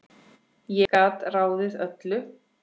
Ég gat ráðið öllu.